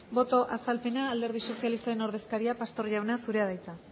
boto azalpena alderdi sozialistaren ordezkaria pastor jauna zurea da hitza